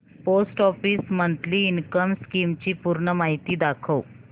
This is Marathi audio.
post office monthly income scheme ची पूर्ण माहिती दाखव